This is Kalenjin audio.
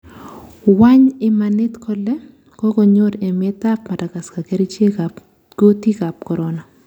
Wany imanit kole kokonyor emet ab Madagascar kerichek ab kutik ab corona?